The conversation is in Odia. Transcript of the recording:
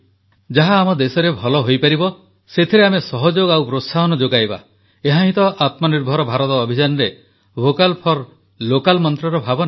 ଯାହା ଆମ ଦେଶରେ ଭଲ ହୋଇପାରିବ ସେଥିରେ ଆମେ ସହଯୋଗ ଓ ପ୍ରୋତ୍ସାହନ ଯୋଗାଇବା ଏହାହିଁ ତ ଆତ୍ମନିର୍ଭର ଭାରତ ଅଭିଯାନରେ ଭୋକାଲ୍ ଫର୍ ଲୋକାଲ୍ ମନ୍ତ୍ରର ଭାବନା